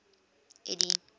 eddie